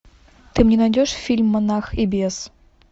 ты мне найдешь фильм монах и бес